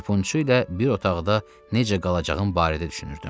Harpunçu ilə bir otaqda necə qalacağım barədə düşünürdüm.